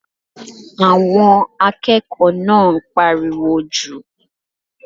Àwọn akẹ́kọ̀ọ́ náà ń pariwo jù.